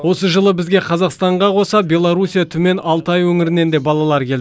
осы жылы бізге қазақстанға қоса беларусия түмен алтай өңірінен де балалар келді